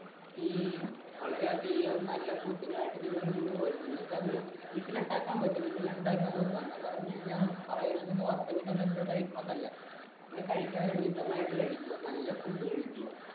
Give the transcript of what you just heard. ഈ വളരെയധികം നിങ്ങൾക്ക് അത് വീട്ടിൽ ഉണ്ടാക്കാൻ പറ്റും നിങ്ങൾ ഉണ്ടാക്കി നോക്ക് മിതമായിട്ട് കഴിക്കുക നല്ല ഫുഡ് കഴിക്കുക